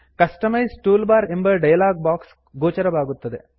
customise toolbar ಎಂಬ dialog box ಗೋಚರವಾಗುತ್ತದೆ